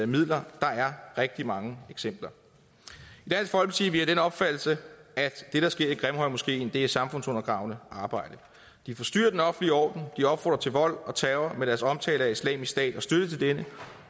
midler der er rigtig mange eksempler i vi af den opfattelse at det der sker i grimhøjmoskeen er samfundsundergravende arbejde de forstyrrer den offentlige orden de opfordrer til vold og terror med deres omtale af islamisk stat og deres støtte til denne